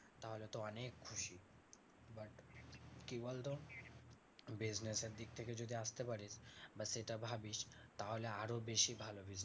তাহলে তো অনেক খুশি। but কি বলতো? business এর দিক থেকে যদি আসতে পারিস বা সেটা ভাবিস তাহলে আরো বেশি ভালো হবে।